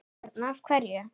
Björn: Af hverju?